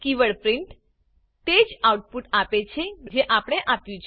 keyword print તે જ output આપે છે જે આપણે આપ્યું છે